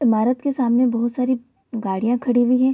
इमारत के सामने बहुत सारी गाड़िया खड़ी हुई है।